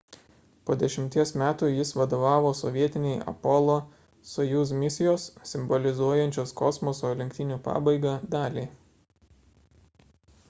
po dešimties metų jis vadovavo sovietinei apollo – soyuz misijos simbolizuojančios kosmoso lenktynių pabaigą daliai